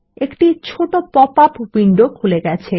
একটি ছোট popup window খুলে গেছে